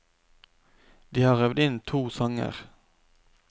De har øvd inn to sanger.